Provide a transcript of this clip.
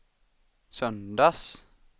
söndags